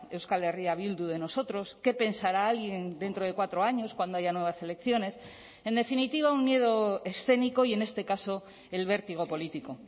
euskal herria bildu de nosotros qué pensará alguien dentro de cuatro años cuando haya nuevas elecciones en definitiva un miedo escénico y en este caso el vértigo político